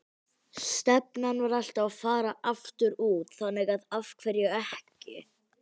Stefnan var alltaf að fara aftur út, þannig að af hverju ekki?